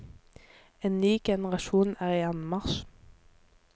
En ny generasjon er i anmarsj.